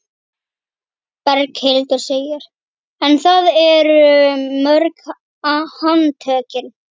Berghildur: En það eru mörg handtökin?